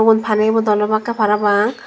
yun pani bodol obakkey parapang.